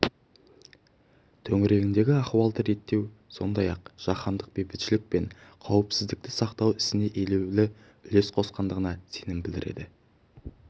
төңірегіндегі ахуалды реттеу сондай-ақ жаһандық бейбітшілік пен қауіпсіздікті сақтау ісіне елеулі үлес қосқандығына сенім білдіреді